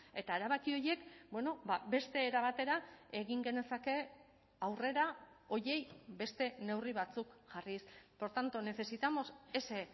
eta erabaki horiek beste era batera egin genezake aurrera horiei beste neurri batzuk jarriz por tanto necesitamos ese